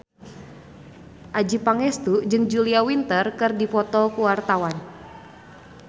Adjie Pangestu jeung Julia Winter keur dipoto ku wartawan